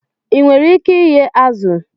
I nwere ike ighe azụ?